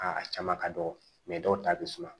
Aa a caman ka dɔgɔ dɔw ta bɛ suma